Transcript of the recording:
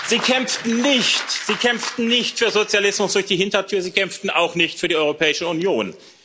Sie kämpften nicht für Sozialismus durch die Hintertür, sie kämpften auch nicht für die Europäische Union.